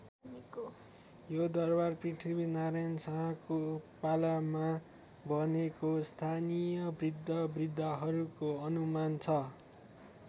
यो दरबार पृथ्वीनारायण शाहको पालामा बनेको स्थानीय बृद्धबृद्धाहरूको अनुमान छ।